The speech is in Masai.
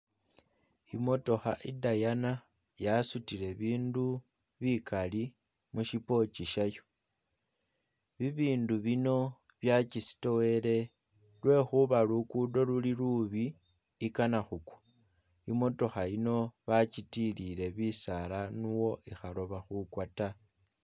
Imotooha i'diana yasutile bindu bikali mushipokyi shyayo, bibindu bino byakisitowele lwekhuba lukudo luli lubi ikana khukwa, imotookha yino bakyitilire bisaala nuwo ikhaloba khukwa ta